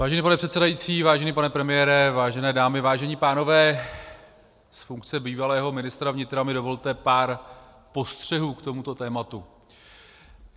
Vážený pane předsedající, vážený pane premiére, vážené dámy, vážení pánové, z funkce bývalého ministra vnitra mi dovolte pár postřehů k tomuto tématu.